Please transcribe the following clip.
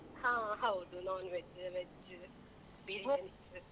ಹ ಹೌದು non-veg, veg biryanis.